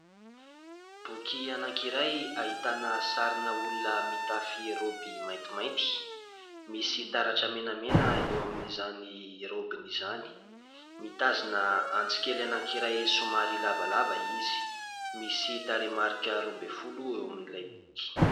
Boky anankiray ahitana sarina olona mitafy maintimainty misy taratra menamena eo amin'izany raobiny izany mitazona antsikely anankiray somary lavalava izy. Misy tarehimarika roa ambin'ny folo eo amin'ilay boky.